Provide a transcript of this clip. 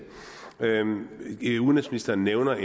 udenrigsministeren nævner